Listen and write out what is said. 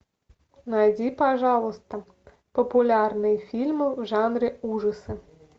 найди пожалуйста популярные фильмы в жанре ужасы